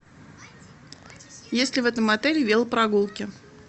есть ли в этом отеле велопрогулки